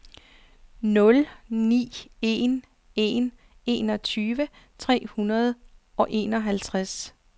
nul ni en en enogtyve tre hundrede og enogtres